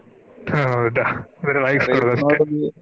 ಆಹ್ ಹೌದಾ ಬರೆ .